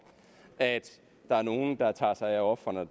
at der er nogle der tager sig af ofrene og at